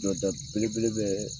nɔda belebele bɛɛ